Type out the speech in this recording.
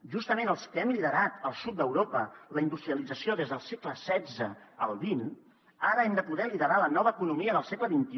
justament els que hem liderat al sud d’europa la industrialització des del segle xvide poder liderar la nova economia del segle xxi